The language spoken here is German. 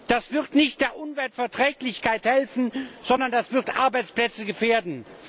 Das wird nicht der Umweltverträglichkeit helfen, sondern das wird Arbeitsplätze gefährden!